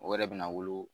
O yɛrɛ bɛna wolo